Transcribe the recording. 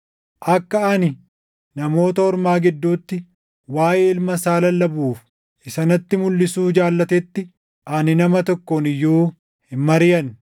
akka ani Namoota Ormaa gidduutti waaʼee Ilma isaa lallabuuf isa natti mulʼisuu jaallatetti ani nama tokkoon iyyuu hin mariʼanne.